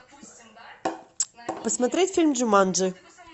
посмотреть фильм джуманджи